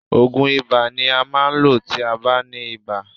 Òògùn ibà ni a máa ń lò tí a bá ní ibà.